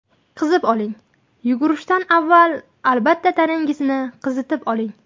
Qizib oling Yugurishdan avval albatta tanangizni qizitib oling.